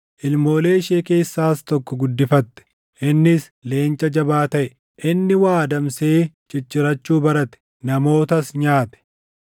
Ilmoolee ishee keessaas tokko guddifatte; innis leenca jabaa taʼe. Inni waa adamsee ciccirachuu barate; namootas nyaate.